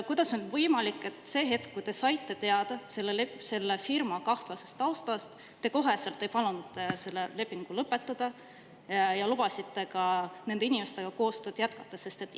Kuidas on võimalik, et see hetk, kui te saite teada selle firma kahtlasest taustast, te kohe ei palunud seda lepingut lõpetada, vaid lubasite nende inimestega koostööd jätkata?